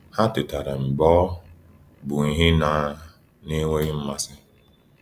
Ha tetara mgbe ọ bụ ihe na na -enweghị mmasị.